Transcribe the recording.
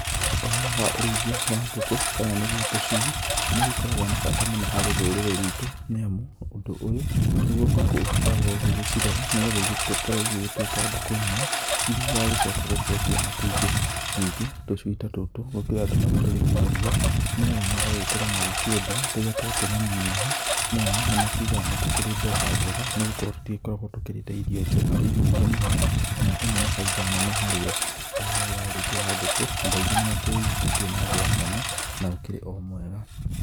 Ũhoro wa ũrĩithia wa ngũkũ kana nĩgũo tũcui nĩ ũgĩkoragwo na bata mũno harĩ rũrĩrĩ rwĩtũ nĩ amũ ũndũ ũyũ nĩgũo gũkũ ũgĩkorawo ũgĩgĩcirera nĩgũo igĩgĩkorwo igĩgĩtuĩka ngũkũ nene irĩa igagĩcoka gũkĩrekia matumbĩ, ningĩ tũcui tatutũ gũkĩrĩ andũ magĩtũrĩkagia nĩgetha magagĩkorwo magĩkĩendia rĩrĩa twakĩnenaneneha nĩamu nĩ makĩugaga nĩ tũkĩrĩ mbeca njega nĩgũkorwo tũtikoragwo tũkĩrĩte irio nyingĩ mũno na ĩno nĩ baita nene harĩ o,ũhoro ũyũ wa ũrĩithia wa ngũkũ andũ aingĩ nĩ makĩwĩiyũkĩtie na njĩra nene na ũkĩrĩ o mwega.